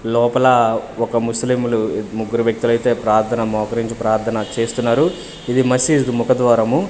లోపల ఒక ముస్లింలు ముగ్గురు వ్యక్తులైతే ప్రార్థన మోకరించి ప్రార్థన చేస్తున్నారు ఇది మసీదు ముఖద్వారము.